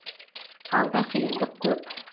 алда қиындық көп